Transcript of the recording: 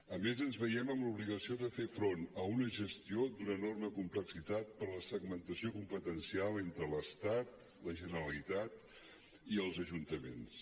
a més ens veiem en l’obligació de fer front a una gestió d’una enorme complexitat per la segmentació competencial entre l’estat la generalitat i els ajuntaments